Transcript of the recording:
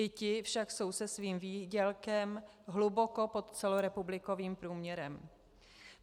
I ti jsou však se svým výdělkem hluboko pod celorepublikovým průměrem.